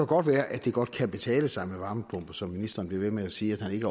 godt være at det godt kan betale sig med varmepumper som ministeren bliver ved med at sige at han ikke